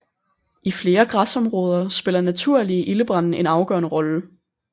I flere græsområder spiller naturlige ildebrande en afgørende rolle